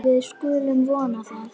Við skulum vona það.